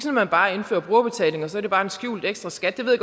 at man bare indfører brugerbetaling og så er det bare en skjult ekstraskat det ved